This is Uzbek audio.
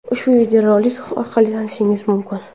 ushbu videorolik orqali tanishishingiz mumkin.